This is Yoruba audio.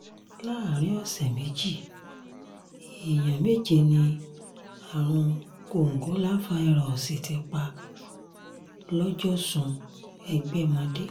láàrin ọ̀sẹ̀ méjì èèyàn méje ni àrùn kòǹgóláfàírọ́ọ̀sì ti pa lọ́jọ́sùn ẹgbẹ̀mọdé